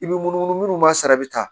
I bɛ munumunu minnu ma sara bɛ taa